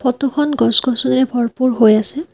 Photo খন গছ গছনিৰে ভৰপুৰ হৈ আছে।